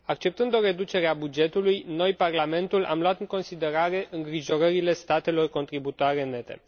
Acceptând o reducere a bugetului, noi, Parlamentul, am luat în considerare îngrijorările statelor contributoare nete.